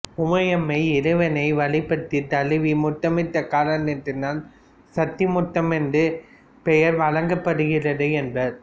உமையம்மை இறைவனை வழிபட்டுத் தழுவி முத்தமிட்ட காரணத்தால் சத்திமுத்தம் என்ற பெயர் வழங்கப்படுகிறது என்பர்